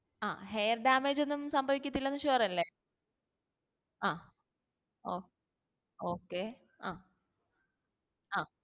ആഹ് hair damage ഒന്നും സംഭവിക്കത്തില്ലെന്ന് sure അല്ലെ ആഹ് ഓ okay ആഹ്